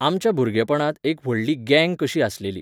आमच्या भुरगेंपणांत एक व्हडली गँग कशी आसलेली